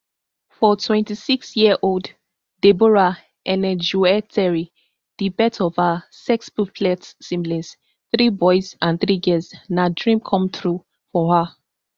for twenty-six year old deborah enejueteri di birth of her sextuplets siblings three boys and three girls na dream come true for her